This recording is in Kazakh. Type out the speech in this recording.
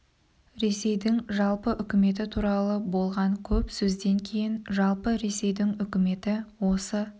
ресейдің жалпы үкіметі туралы болған көп сөзден кейін жалпы ресейдің үкіметі осы